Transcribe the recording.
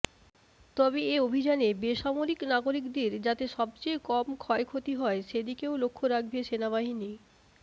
তবে এ অভিযানে বেসামরিক নাগরিকদের যাতে সবচেয়ে কম ক্ষয়ক্ষতি হয়ে সেদিকেও লক্ষ্য রাখবে সেনাবাহিনী